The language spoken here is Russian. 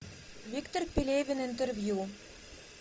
виктор пелевин интервью